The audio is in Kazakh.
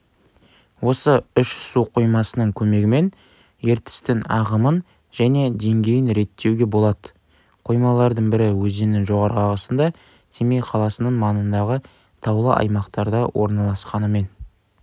осы үш су қоймасының көмегімен ертістің ағымын және деңгейін реттеуге болады қоймалардың бірі өзеннің жоғарғы ағысында семей қаласының маңындағы таулы аймақтарда орналасқанымен